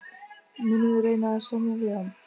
Munum við reyna að semja við hann?